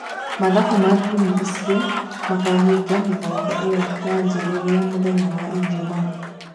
Mathafu ma timu icio makahinga mĩthako ĩyo yanjĩrĩria mũthenya wa Ijumaa.